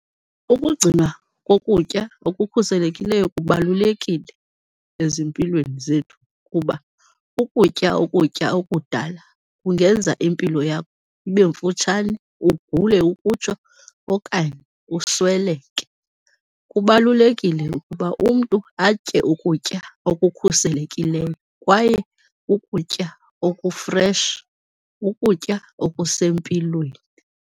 Ukugcinwa kokutya ngokukhuselekileyo kubalulekile ezimpilweni zethu kuba ukutya ukutya okudala kungenza impilo yakho ibe mfutshane, ugule ukutsho okanye usweleke. Kubalulekile ukuba umntu atye ukutya okukhuselekileyo kwaye ukutya oku-fresh, ukutya okusempilweni.